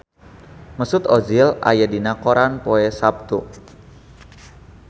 Mesut Ozil aya dina koran poe Saptu